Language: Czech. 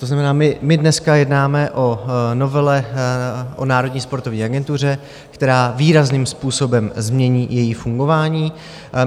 To znamená, my dneska jednáme o novele o Národní sportovní agentuře, která výrazným způsobem změní její fungování.